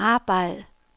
arbejd